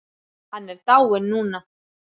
Hann er dáinn núna.